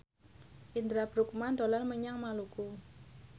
Indra Bruggman dolan menyang Maluku